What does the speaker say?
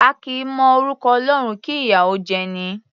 A kì í mọ orúkọ Ọlọ́run, kí ìyà ó jẹ'ni.